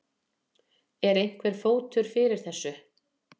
En er einhver fótur fyrir þessu?